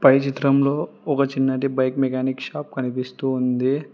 పై చిత్రంలో ఒక చిన్నది బైక్ మెకానిక్ షాప్ కనిపిస్తూ ఉంది.